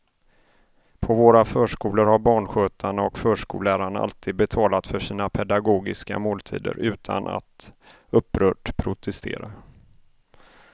På våra förskolor har barnskötarna och förskollärarna alltid betalat för sina pedagogiska måltider utan att upprört protestera.